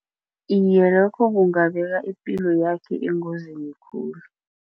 Iye, lokho kungabeka ipilo yakho engozini khulu.